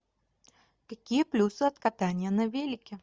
какие плюсы от катания на велике